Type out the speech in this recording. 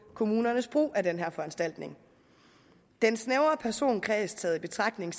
kommunernes brug af den her foranstaltning den snævre personkreds taget i betragtning